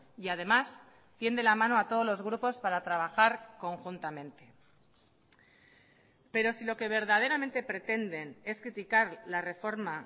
y además tiende la mano a todos los grupos para trabajar conjuntamente pero si lo que verdaderamente pretenden es criticar la reforma